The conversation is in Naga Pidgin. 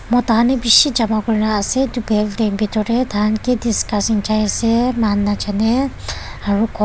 Mota han he beshe jama kurena ase tu bhetor tey taihan ki discussing jai ase moihan najane aro kor--